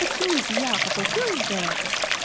почему я поплатилась за это